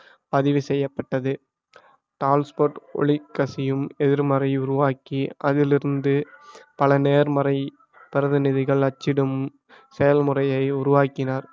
பதிவு செய்யப்பட்டது டால்ஸ்போர்ட் ஒளி கசியும் எதிர்மறை உருவாக்கி அதிலிருந்து பல நேர்மறை பிரதிநிதிகள் அச்சிடும் செயல் முறையை உருவாக்கினார்